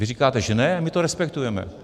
Vy říkáte, že ne, my to respektujeme.